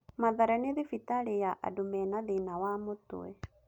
Mathare nĩ thibitarĩ ya andũ mena thĩĩna wa mũtwe.